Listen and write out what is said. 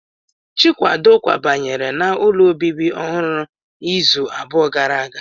Chikwado kwabanyere n'ụlọ obibi ọhụrụ izu abụọ gara aga